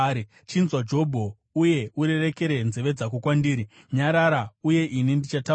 “Chinzwa, Jobho, uye urerekere nzeve dzako kwandiri; nyarara, uye ini ndichataura.